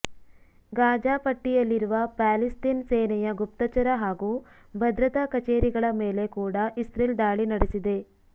Gaza ಪಟ್ಟಿಯಲ್ಲಿರುವ Palestine ಸೇನೆಯ ಗುಪ್ತಚರ ಹಾಗೂ ಭದ್ರತಾ ಕಚೇರಿಗಳ ಮೇಲೆ ಕೂಡ ಇಸ್ರೆಲ್ ದಾಳಿ ನಡೆಸಿದೆ